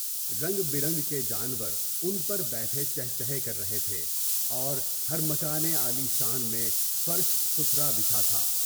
رنگ برنگ کے جانور ان پر بیٹھے چھے چھے کر رہے تھے، اور مکان عالی شان میں فرش ستھرا بچھا تھا۔